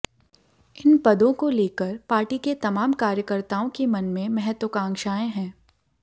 इन पदों को लेकर पार्टी के तमाम कार्यकर्ताओं के मन में महत्वाकांक्षाएं हैं